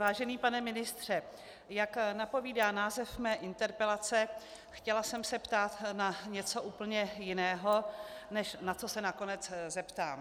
Vážený pane ministře, jak napovídá název mé interpelace, chtěla jsem se ptát na něco úplně jiného, než na co se nakonec zeptám.